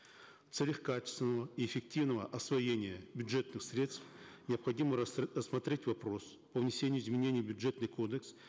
в целях качественного и эффективного освоения бюджетных средств необходимо рассмотреть вопрос о внесении изменений в бюджетный кодекс